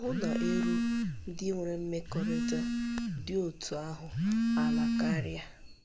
Ahụ́ na- érú ndị nwere mmekọrịta dị otú ahụ ala karịa.